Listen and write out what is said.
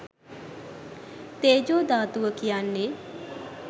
තේජෝ ධාතුව කියන්නේ